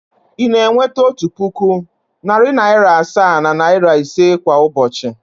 Ị na-enweta otu puku, narị naịra asaa na naịra ise kwa ụbọchị?